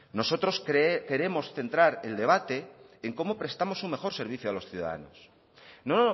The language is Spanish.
nosotros queremos centrar el debate en cómo prestamos un mejor servicio a los ciudadanos no